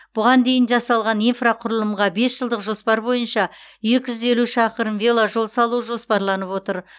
бұған дейін жасалған инфрақұрылымға бес жылдық жоспар бойынша екі жүз елу шақырым веложол салу жоспарланып отыр